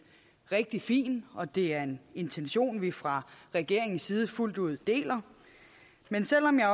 rigtig fint og det er en intention som vi fra regeringens side fuldt ud deler men selv om jeg